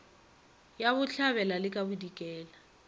ya bohlabela le ka bodikela